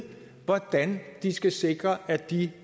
hvordan de skal sikre at de